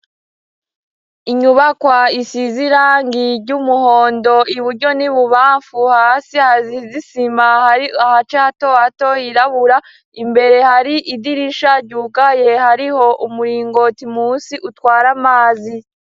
inyubakwa isize irangi ry'umuhondo iburyo ni bubamfu, hasi hasize isima, aho hace hato hato hirabura imbere hari idirisha ryugaye, hariho umuringoti munsi utwara amazi.